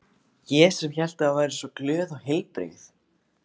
Ég sem hélt að þú væri svo glöð og heilbrigð.